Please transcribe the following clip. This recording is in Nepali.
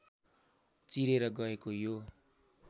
चिरेर गएको यो